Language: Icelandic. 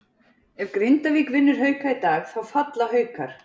Ef Grindavík vinnur Hauka í dag þá falla Haukar.